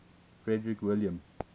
frederick william